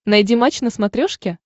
найди матч на смотрешке